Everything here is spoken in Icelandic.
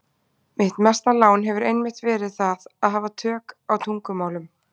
Mitt mesta lán hefur einmitt verið það að hafa tök á tungumálum.